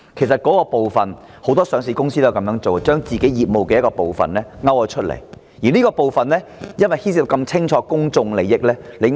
事實上，不少上市公司均會將部分業務分拆出來，尤其是明顯牽涉公眾利益的部分。